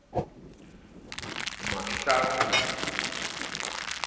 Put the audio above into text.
mahlaku ho ya ho ya